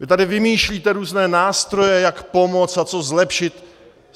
Vy tady vymýšlíte různé nástroje, jak pomoct a co zlepšit.